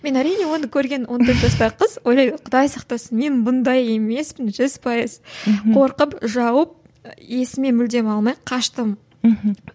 мен әрине оны көрген он төрт жастағы қыз ойлаймын құдай сақтасын мен бұндай емеспін жүз пайыз қорқып жауып есіме мүлдем алмай қаштым мхм